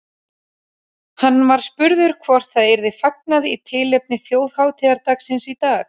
Hann var spurður hvort það yrði fagnað í tilefni þjóðhátíðardagsins í dag.